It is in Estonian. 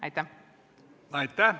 Aitäh!